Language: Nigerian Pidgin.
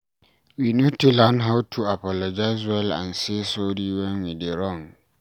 We need to learn how to apologize well and say sorry when we dey wrong